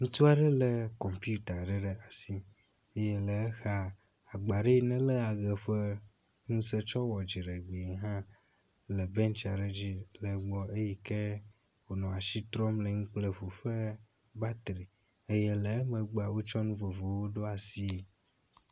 Ŋutsu aɖe e kɔmputa aɖe ɖe asi eye le exa agba aɖe yi neléa eʋe ƒe ŋuse tsɔ wɔa dziɖgbee hã le bentsi aɖe dzi le egbɔ eyi ke wonɔ asi trɔm le enu kple ŋu ƒe batri eye le emegbea wotsɔ nu vovovowo ɖo asie.